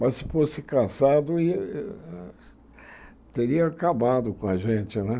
Mas se fosse cassado, ia teria acabado com a gente, né?